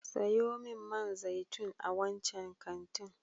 Sayo min man zaitun a wancan kantin.